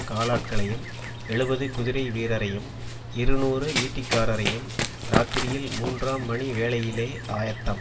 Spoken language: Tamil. காலாட்களையும் எழுபது குதிரைவீரரையும் இருநூறு ஈட்டிக்காரரையும் இராத்திரியில் மூன்றாம் மணி வேளையிலே ஆயத்தம்